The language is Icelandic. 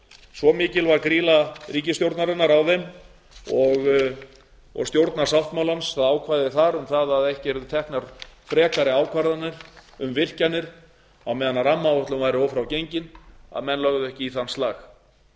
svo mikilvæg er grýla ríkisstjórnarinnar á þeim og stjórnarsáttmálans að ákvæði þar um það að ekki yrðu teknar frekari ákvarðanir um virkjanir á meðan rammaáætlun væri ófrágengin að menn legðu ekki í þann slag